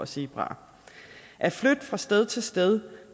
zebraer at flytte fra sted til sted